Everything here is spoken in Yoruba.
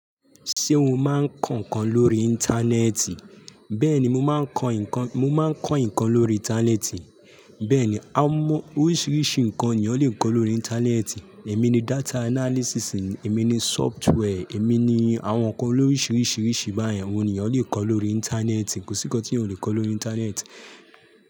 Ṣé o máa ń kọ nǹkan lórí Íńtánẹ́ẹ̀tì? Bẹ́ẹ̀ni, mo má ń kọ nǹkan, mo má ń kọ nǹkan lórí Íńtánẹ́ẹ̀tì. Bẹ́ẹ̀ ni, àwọn oríṣiríṣi nǹkan ni ẹ̀yàn lè kọ lórí Íńtánẹ́ẹ̀tì. Ẹ̀mí ni data analysis, ẹ̀mi ni software, ẹ̀mi ni àwọn nǹkan loríṣiríṣi báyẹn òun ní èyàn lè kọ lórí Íńtánẹ́ẹ̀tì. Kò sí nǹkan tí ẹ̀yàn ó lè kọ lórí Íńtánẹ́ẹ̀tì.